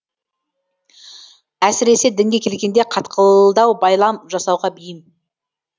әсіресе дінге келгенде қатқылдау байлам жасауға бейім